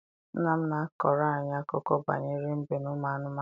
Nna m na-akọrọ anyị akụkọ banyere mbe na ụmụ anụmanụ.